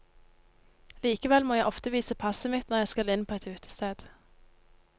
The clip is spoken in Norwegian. Likevel må jeg ofte vise passet mitt når jeg skal inn på et utested.